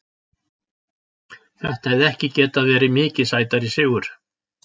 Þetta hefði ekki getað verið mikið sætari sigur.